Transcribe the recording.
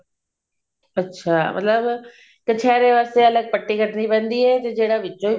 ਅੱਛਾ ਮਤਲਬ ਕਛੇਰੇ ਵਾਸਤੇ ਅਲੱਗ ਪੱਟੀ ਕੱਟਣੀ ਪੈਂਦੀ ਹੈ ਤੇ ਜਿਹੜਾ ਵਿੱਚੋਂ